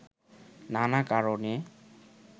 নানা কারণে